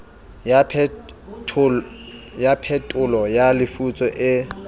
ya phetolo ya lefutso e